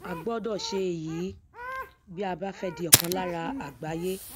a gbọdọ ṣe èyí bí a bá fẹ di ọkan lára àgbáyé